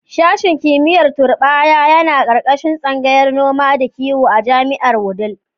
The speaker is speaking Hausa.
Sashen kimiyyar turɓaya yana ƙarƙashin tsangayar noma da kiwo a jami'ar a Wudil.